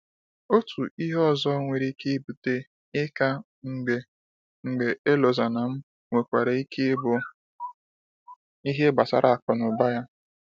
Otu ihe ihe ọzọ nwere ike ibute 'ịka mgbe mgbe Elozonam, nwekwara ike ịbụ ihe gbasara akụnụba ya.